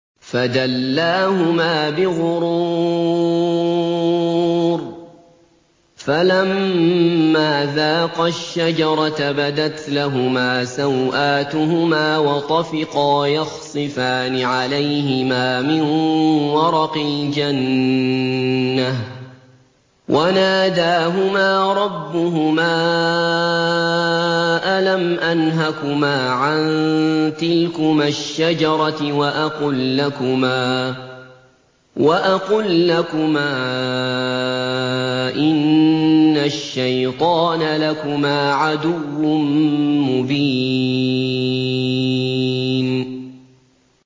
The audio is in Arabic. فَدَلَّاهُمَا بِغُرُورٍ ۚ فَلَمَّا ذَاقَا الشَّجَرَةَ بَدَتْ لَهُمَا سَوْآتُهُمَا وَطَفِقَا يَخْصِفَانِ عَلَيْهِمَا مِن وَرَقِ الْجَنَّةِ ۖ وَنَادَاهُمَا رَبُّهُمَا أَلَمْ أَنْهَكُمَا عَن تِلْكُمَا الشَّجَرَةِ وَأَقُل لَّكُمَا إِنَّ الشَّيْطَانَ لَكُمَا عَدُوٌّ مُّبِينٌ